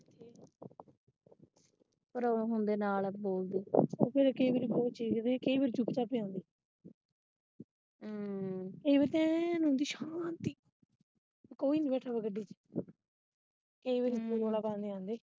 ਕਈ ਵਾਰ ਬਹੁਤ ਚੀਂਕਦੇ ਕਈ ਵਾਰ ਚੁੱਪਚਾਪ ਆਉਂਦੇ ਕਈ ਵਾਰ ਤਾਂ ਐਨ ਹੁੰਦੀ ਸ਼ਾਂਤੀ ਕੋਈ ਨੀ ਬੈਠਾ ਹੁੰਦਾ ਗੱਡੀ ਚ।